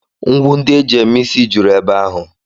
Ngwu ndị e ji eme ịsị juru ebe ahụ